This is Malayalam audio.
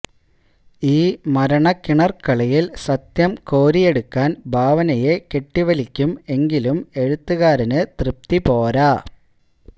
ഈ മരണക്കിണർക്കളിയിൽ സത്യം കോരിയെടുക്കാൻ ഭാവനയെ കെട്ടിവലിയ്ക്കും എങ്കിലും എഴുത്തുകാരന് തൃപ്തി പോര